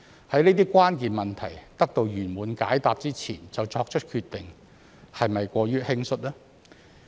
在這些關鍵問題得到圓滿解答之前就作出決定，是否過於輕率呢？